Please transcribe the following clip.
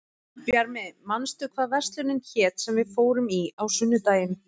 Bjarmi, manstu hvað verslunin hét sem við fórum í á sunnudaginn?